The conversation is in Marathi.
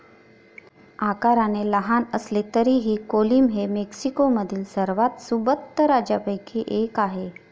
आकाराने लहान असले तरीही कोलीम हे मेक्सिकोमधील सर्वात सुबत्त राज्यांपैकी एक आहे.